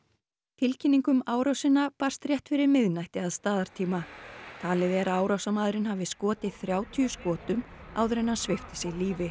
tilkynning um árásina barst rétt fyrir miðnætti að staðartíma talið er að árásarmaðurinn hafi skotið þrjátíu skotum áður en hann svipti sig lífi